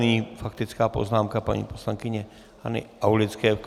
Nyní faktická poznámka paní poslankyně Hany Aulické.